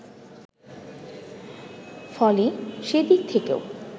ফলে সে দিক থেকেও